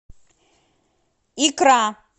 икра